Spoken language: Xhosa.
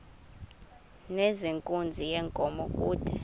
nezenkunzi yenkomo kude